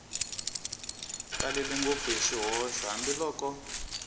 talele ngopfu hi swihoxo hambiloko